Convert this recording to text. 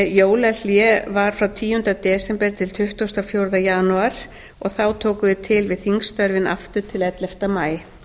jólahlé var frá tíunda desember til tuttugasta og fjórða janúar og þá tókum við til við þingstörfin aftur til ellefta maí